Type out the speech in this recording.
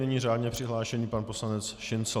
Nyní řádně přihlášený pan poslanec Šincl.